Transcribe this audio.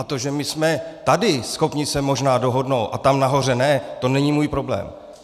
A to, že my jsme tady schopni se možná dohodnout a tam nahoře ne, to není můj problém.